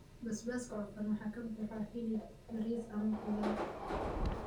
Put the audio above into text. Basbaaska cufan waxaa ka buuxa hilib, bariis, ama khudaar.